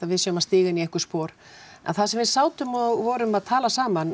við séum að stíga inn í einhver spor en þar sem við sátum og vorum að tala saman